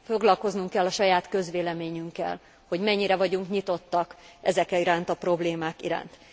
Foglalkoznunk kell a saját közvéleményünkkel, hogy mennyire vagyunk nyitottak ezek iránt a problémák iránt.